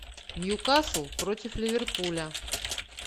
ньюкасл против ливерпуля